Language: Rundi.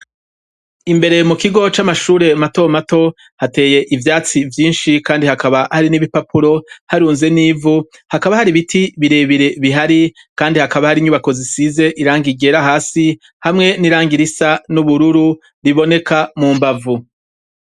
Imbere mu kigo c'amashure mato mato hateye ivyatsi vyinshi kandi hakaba hari n'ibipapuro, harunze n'ivu, hakaba hari biti birebire bihari, kandi hakaba hari inyubako zisize irangi ryera hasi hamwe n'irangi risa n'ubururu riboneka mu mbavu.